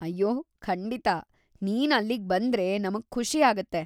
ಅಯ್ಯೋ, ಖಂಡಿತ. ನೀನು ಅಲ್ಲಿಗ್ಬಂದ್ರೆ ನಮ್ಗೆ ಖುಷಿಯಾಗತ್ತೆ.